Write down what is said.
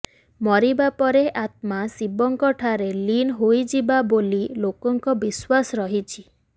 ମରିବା ପରେ ଆତ୍ମା ଶିବଙ୍କ ଠାରେ ଲୀନ ହୋଇଯାଏ ବୋଲି ଲୋକଙ୍କ ବିଶ୍ୱାସ ରହିଛି